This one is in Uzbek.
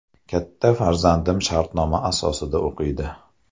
Katta farzandim shartnoma asosida o‘qiydi.